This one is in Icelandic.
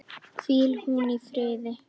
Hvíl hún í friði.